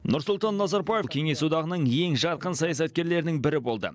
нұрсұлтан назарбаев кеңес одағының ең жарқын саясаткерлерінің бірі болды